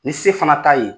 Ni se fana t'a ye